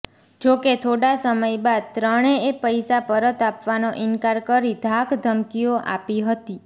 જોકે થોડા સમય બાદ ત્રણેએ પૈસા પરત આપવાનો ઇનકાર કરી ધાક ધમકીઓ આપી હતી